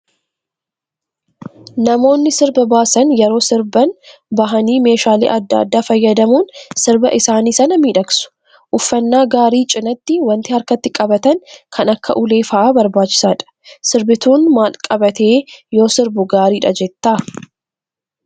Namoonni sirba baasan yeroo sirban bahanii meeshaalee adda addaa fayyadamuun sirba isaanii sana miidhagsu. Uffannaa gaarii cinaatti wanti harkatti qabatan kan akka ulee fa'aa barbaachisaadha. Sirbituun maal qabatee yoo sirbu gaariidha jettaa?